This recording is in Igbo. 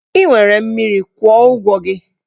Ị nwere mmiri, kwụọ ụgwọ gị!